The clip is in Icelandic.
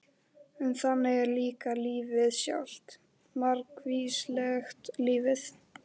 En þannig er líka lífið sjálft- margvíslegt lífið.